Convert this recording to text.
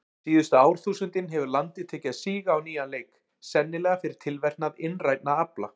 Síðustu árþúsundin hefur landið tekið að síga á nýjan leik, sennilega fyrir tilverknað innrænna afla.